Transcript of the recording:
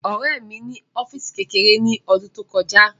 Ọ̀rẹ́ mi ní ọ́físì kékeré ní ọdún tí ó kọjá